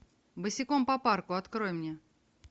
босиком по парку открой мне